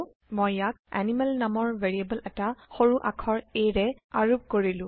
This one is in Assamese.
মই ইয়াক এনিমেল নামৰ ভেৰিয়েবল এটা সৰু আখৰ aৰে আৰোপ কৰিলো